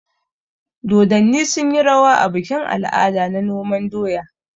Dodonni sunyi rawa a bikin al'ada na noman doya.